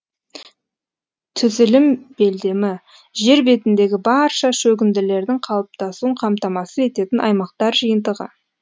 түзілім белдемі жер бетіндегі барша шөгінділердің қалыптасуын қамтамасыз ететін аймақтар жиынтығы